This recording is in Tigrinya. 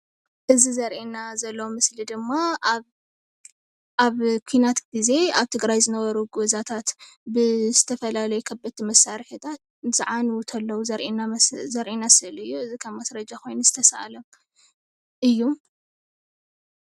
እዚ ዘርእየና ዘሎ ምስሊ ድማ ኣብ ኩናት ግዜ ኣብ ትግራይ ዝነበሩ ገዛታት ብዝተፈላለዩ ከበድቲ መሳርሕታት እንትዓንው ከለው ዘርእየና ስእሊ እዩ። እዚ ከም ማስረጀ ኮይኑ ዝተሰኣለ እዩ፡፡